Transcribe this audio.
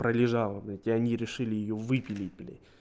пролежала блять и они решили её выпилить блять